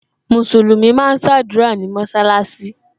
Musulumi máa ń sadura ní mọsalasi